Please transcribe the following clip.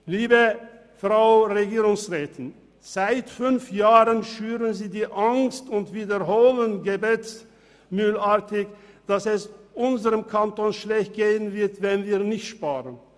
Liebe Frau Regierungsrätin, seit fünf Jahren schüren Sie die Angst und wiederholen gebetsmühlenartig, dass es unserem Kanton schlechter gehen wird, wenn wir nicht sparen.